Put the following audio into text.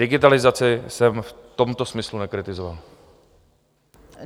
Digitalizaci jsem v tomto smyslu nekritizoval.